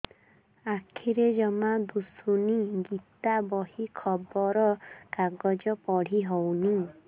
ଆଖିରେ ଜମା ଦୁଶୁନି ଗୀତା ବହି ଖବର କାଗଜ ପଢି ହଉନି